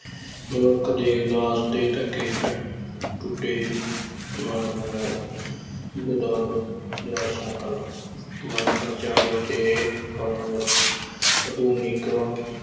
ਮਨੁੱਖ ਦੇ ਉਦਾਸ ਤੇ ਧੱਕੇ ਟ~ ਟੁੱਟੇ ਮਨ ਨੂੰ ਜਾ ਸਕਣ, ਮਨਪਰਚਾਵੇ ਦੇ ਸਾਨੂੰ ਆਧੁਨਿਕ